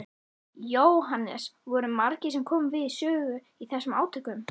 Jóhannes: Voru margir sem komu við sögu í þessum átökum?